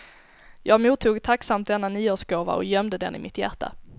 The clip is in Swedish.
Jag mottog tacksamt denna nyårsgåva och gömde den i mitt hjärta.